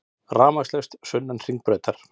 Rafmagnslaust sunnan Hringbrautar